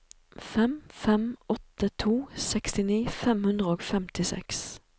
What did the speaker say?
fem fem åtte to sekstini fem hundre og femtiseks